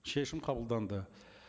шешім қабылданды